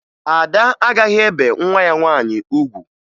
Ada agaghị ebe nwa ya nwaanyị ugwu